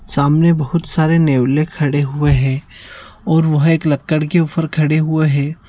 सामने बहुत सारे नेवला खड़े हुए है और वह एक लकड़ के ऊपर खड़े हुए है।